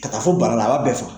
Ka taa fɔ bara la a b'a bɛɛ faga